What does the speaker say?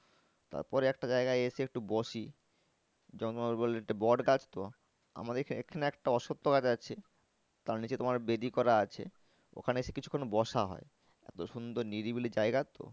তারপর একটা জায়গায় এসে একটু বসি বট গাছ তো আমাদের এখানে একটা অস্বত্ব গাছে আছে তার নিচে তোমার বেদি করা আছে ওখানে এসে কিছুক্ষন বসা হয়। এতো সুন্দর নিরিবিলি জায়গা তো